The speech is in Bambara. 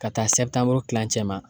Ka taa kilancɛ ma